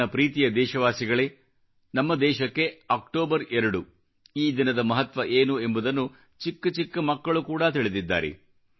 ನನ್ನ ಪ್ರೀತಿಯ ದೇಶವಾಸಿಗಳೇ ನಮ್ಮ ದೇಶಕ್ಕೆ ಅಕ್ಟೋಬರ್ 2 ಈ ದಿನದ ಮಹತ್ವ ಏನು ಎಂಬುದನ್ನು ಚಿಕ್ಕ ಚಿಕ್ಕ ಮಕ್ಕಳು ಕೂಡ ತಿಳಿದಿದ್ದಾರೆ